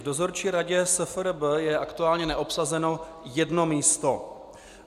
V Dozorčí radě SFRB je aktuálně neobsazeno jedno místo.